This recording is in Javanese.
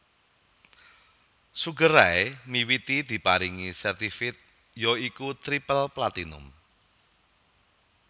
Sugar Ray miwiti diparingi certified ya iku triple platinum